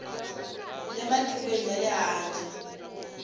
le matikweni ya le handle